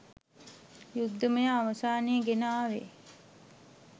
යුද්ධමය අවසානය ගෙන ආවේ